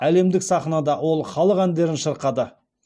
әлемдік сахнада ол халық әндерін шырқады